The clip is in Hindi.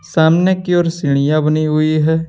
सामने की ओर सीढ़ियां बनी हुई है।